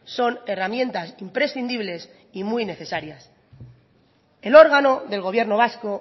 son herramientas imprescindibles y muy necesarias el órgano del gobierno vasco